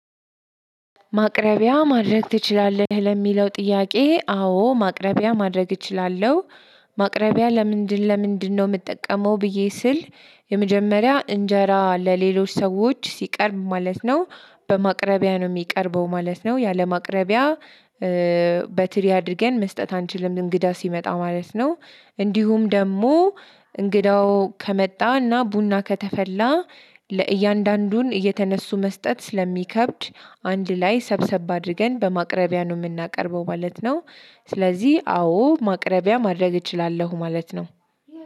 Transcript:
ማቅረቢያ ማድረግ ትችላለህ? ለሚለው ጥያቄ አዎ ማቅረቢያ ማድረግ እችላለሁ። ማቅረቢያ ለምንድን ለምንድነው? የምጠቀመው ብዬ ስል የመጀመሪያ እንጀራ ለሌሎች ሰዎች ሲቀርብ ማለት ነው። በማቅረቢያ ነው የሚቀርበው ማለት ነው። ያለማቅረቢያ በትሪ አድርገን መስጠት አንችልም እንግዳ ሲመጣ ማለት ነው። እንዲሁም ደግሞ እንግዳው ከመጣና ቡና ከተፈላ ለእያንዳንዱን እየተነሱ መስጠት ስለሚከብድ አንድ ላይ ሰብሰብ አድርገን በማቅረቢያ ነው የምናቀርበው ማለት ነው። ስለዚህ አዎ ማቅረቢያ ማድረግ እችላለሁ ማለት ነው።